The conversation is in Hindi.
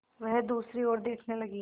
वह दूसरी ओर देखने लगी